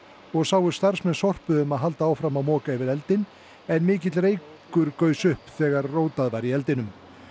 og sáu starfsmenn Sorpu um að halda áfram að moka yfir eldinn en mikill reykur gaus upp þegar rótað var í eldinum